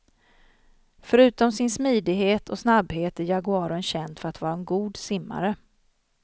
Förutom sin smidighet och snabbhet är jaguaren känd för att vara en god simmare.